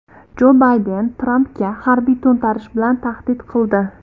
Jo Bayden Trampga harbiy to‘ntarish bilan tahdid qildi.